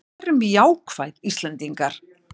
Verum jákvæð Íslendingar!